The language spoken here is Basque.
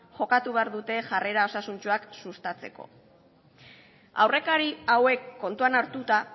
jokatu behar dute jarrera osasuntsuak sustatzeko aurrekari hauek kontuan hartuta